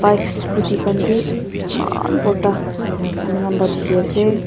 bikes scooty khan bi eman borta ami khan pa dikhi ase.